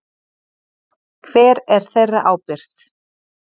Hver er þeirra ábyrgt?